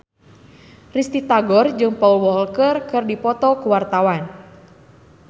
Risty Tagor jeung Paul Walker keur dipoto ku wartawan